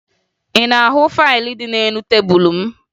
Ị na-ahụ faịlụ dị n'elu tebulu m?